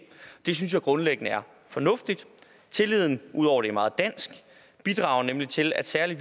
det synes jeg grundlæggende er fornuftigt tilliden ud over det meget dansk bidrager nemlig til at særlig